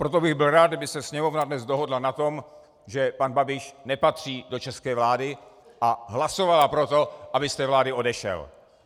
Proto bych byl rád, kdyby se Sněmovna dnes dohodla na tom, že pan Babiš nepatří do české vlády, a hlasovala pro to, aby z té vlády odešel.